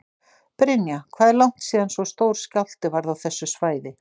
Brynja: Hvað er langt síðan svo stór skjálfti varð á þessu svæði?